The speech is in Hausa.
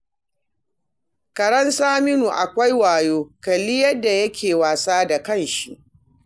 Karen Saminu akwai wayo, kalli yadda yake wasa da ƙashi